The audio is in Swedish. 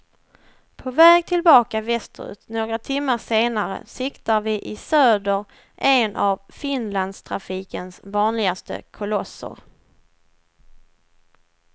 På väg tillbaka västerut några timmar senare siktar vi i söder en av finlandstrafikens vanligaste kolosser.